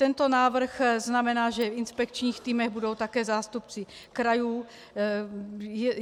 Tento návrh znamená, že v inspekčních týmech budou také zástupci krajů.